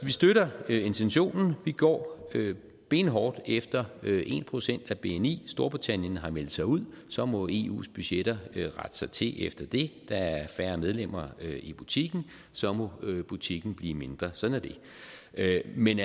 vi støtter intentionen vi går benhårdt efter en procent af bni storbritannien har meldt sig ud og så må eus budgetter rette sig til efter det der er færre medlemmer i butikken og så må butikken blive mindre sådan er det men